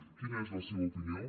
quina és la seva opinió